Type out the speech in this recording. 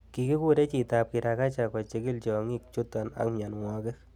Kikure chitab kirakacha kochikil tiongikchuton ak mionwogik.